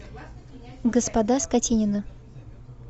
господа скотинины